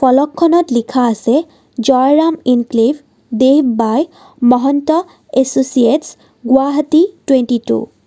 ফলকখনত লিখা আছে Jayram enclave dev by Mahanta associates Guwahati twenty two.